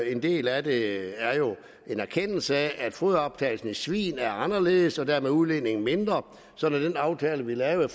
en del af det er jo en erkendelse af at foderoptagelsen i svin er anderledes og dermed er udledningen mindre så den aftale vi lavede